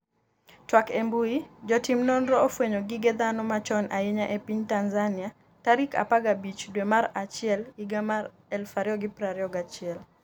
twak e mbui, Jotim nonro ofwenyo gige dhano machon ahinya e piny Tanzania tarik 15 dwe mar achiel higa mar 2021